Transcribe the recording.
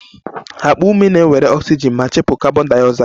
Akpa ume na-ewere oxygen ma chụpụ carbondioxide